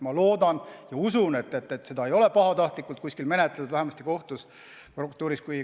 Ma loodan ja usun, et seda ei ole pahatahtlikult menetletud, vähemasti kohtus ja prokuratuuris.